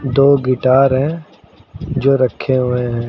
दो गिटार है जो रखे हुए हैं।